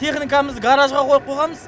техникамызды гаражға қойып қойғанбыз